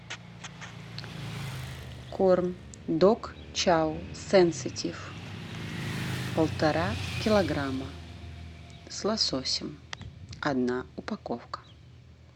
корм дог чао сенситив полтора килограмма с лососем одна упаковка